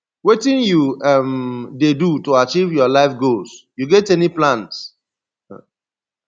wetin you um dey do to achieve your life goals you get any plans